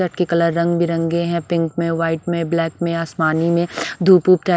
colour रंग बिरंगे हैं पिंक में वाइट में ब्लैक में आसमानी में धूप उप --